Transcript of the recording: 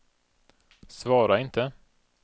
svara inte